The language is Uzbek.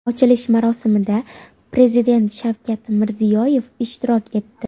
Ochilish marosimida Prezident Shavkat Mirziyoyev ishtirok etdi.